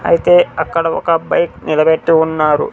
అయితే అక్కడ ఒక బైక్ నిలబెట్టి ఉన్నారు.